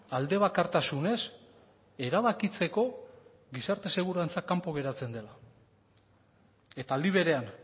alde bakartasunez erabakitzeko gizarte segurantza kanpo geratzen dela eta aldi berean